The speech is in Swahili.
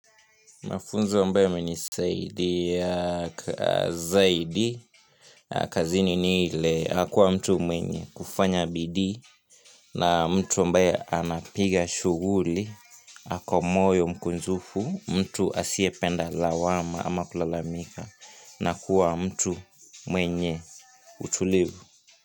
Mafunzo ambayo yamenisadia zaidi kazini ni ile kuwa mtu mwenye kufanya bidii na mtu ambaye ana piga shughuli, ako moyo mkunjufu, mtu asiyependa lawama ama kulalamika na kuwa mtu mwenye utulivu.